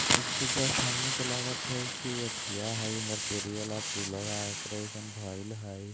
इ त जस्ट हमनी के लागत हई की एथिया हई इंदरपुरी वाला पुलवा ओकरे जइसन भइल हई।